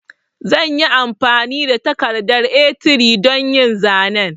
Zanyi amfani da takardar A3 don yin zanen